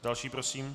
Další prosím.